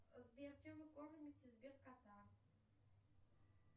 сбер чем вы кормите сбер кота